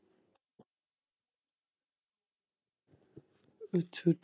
ਅੱਛਾ।